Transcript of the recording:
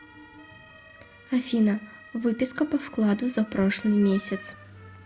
афина выписка по вкладу за прошлый месяц